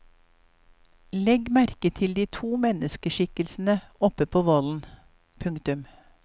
Legg merke til de to menneskikkelsene oppe på vollen. punktum